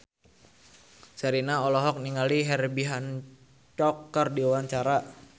Sherina olohok ningali Herbie Hancock keur diwawancara